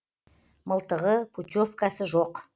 мылтығы путевкасы жоқ